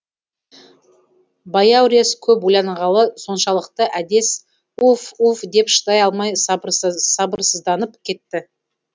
баяурес көп ойланғаны соншалықты әдес уф уф деп шыдай алмай сабырсызданып кетті